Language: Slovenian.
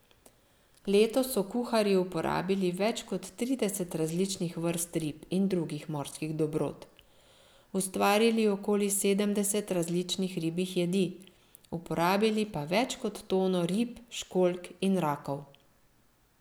Letos so kuharji uporabili več kot trideset različnih vrst rib in drugih morskih dobrot, ustvarili okoli sedemdeset različnih ribjih jedi, uporabili pa več kot tono rib, školjk in rakov.